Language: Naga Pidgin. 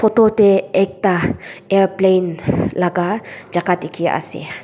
photo teh ekta airplane laga jaga dikhi ase.